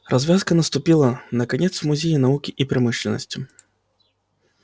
развязка наступила наконец в музее науки и промышленности